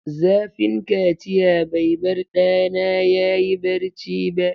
Zafin kaciya bai bar ɗana ya yi barci ba.